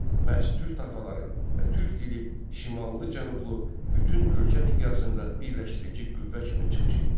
Məhz türk tayfaları və türk dili şimallı-cənublu bütün ölkə miqyasında birləşdirici qüvvə kimi çıxış etdi.